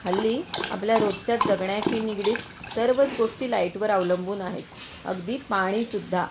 हल्ली आपल्या रोजच्या जगण्याशी निगडित सर्वच गोष्टी लाइट वर अवलंबून आहेत, अगदी पाणी सुद्धा.